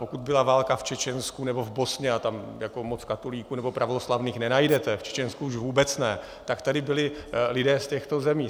Pokud byla válka v Čečensku nebo v Bosně, a tam moc katolíků nebo pravoslavných nenajdete, v Čečensku už vůbec ne, tak tady byli lidé z těchto zemí.